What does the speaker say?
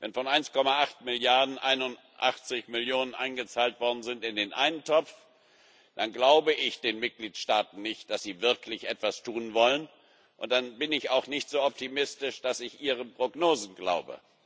Wenn von 11,8 Milliarden 81 Millionen in den einen Topf eingezahlt worden sind, dann glaube ich den Mitgliedstaaten nicht, dass sie wirklich etwas tun wollen, und dann bin ich auch nicht so optimistisch, dass ich ihren Prognosen glaube.